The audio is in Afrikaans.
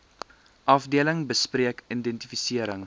afdeling bespreek identifisering